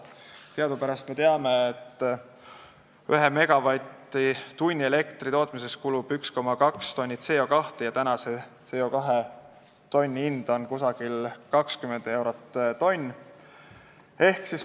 Teadupärast tekib ühe megavatt-tunni elektri tootmisel 1,2 tonni CO2 ja CO2 tonni hind on praegu umbes 20 eurot.